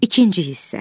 İkinci hissə.